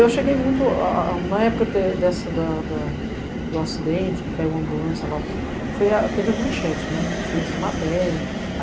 Eu cheguei muito... Na época do acidente, que caiu a ambulância lá, foi a tê vê Manchete, que fez a matéria.